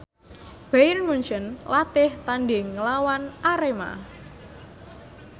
Bayern Munchen latih tandhing nglawan Arema